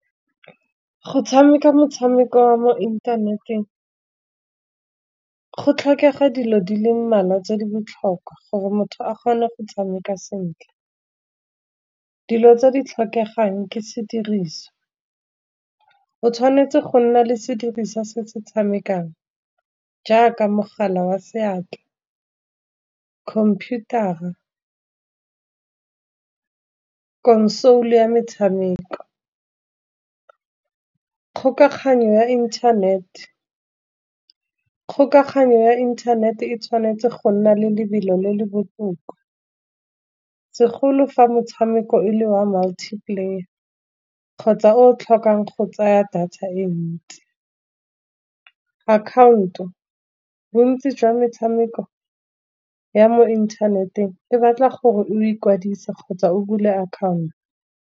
Go tshameka motshameko wa mo inthaneteng go tlhokega dilo di le mmalwa tse di botlhokwa, gore motho a kgone go tshameka sentle. Dilo tse di tlhokegang ke sediriswa, o tshwanetse go nna le sediriswa se se tshamekang jaaka mogala wa seatla, computer-ra, console ya metshameko. Kgokaganyo ya internet-e, kgokaganyo ya internet-e tshwanetse go nna le lebelo le le botoka, segolo fa metshameko e le wa multi player kgotsa o tlhokang go tsaya data e ntsi. Account-o bontsi jwa metshameko ya mo inthaneteng le batla gore o ikwadise, kgotsa o bule account.